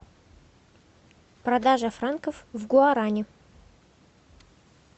продажа франков в гуарани